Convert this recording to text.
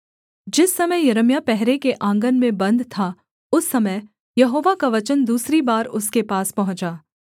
जिस समय यिर्मयाह पहरे के आँगन में बन्द था उस समय यहोवा का वचन दूसरी बार उसके पास पहुँचा